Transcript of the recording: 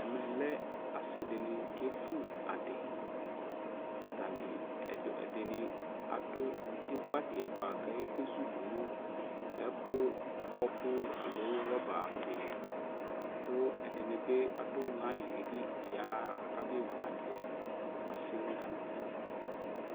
Ɛmɛ lɛ asi dini kevʋ adi Atani ɛdini adʋ evʋ adi yɛ boa kake zudʋ ɛkʋ ɔɔkʋ aloo rɔba di li Kʋ ɛdini bi adʋ layi yɛ li yaɣa kabe vʋ adi yɛ Asi nʋ alʋvi